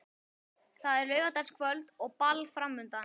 Það er laugardagskvöld og ball framundan.